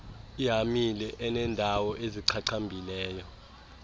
ihamile enendawo ezichachambileyo